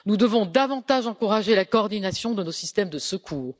Nous devons davantage encourager la coordination de nos systèmes de secours.